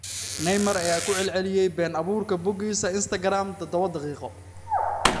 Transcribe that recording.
Neymar ayaa ku celceliyay been abuurka bogiisa Instagram todobo daqiiqo.